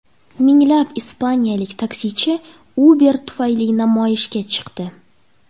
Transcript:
Minglab ispaniyalik taksichi Uber tufayli namoyishga chiqdi.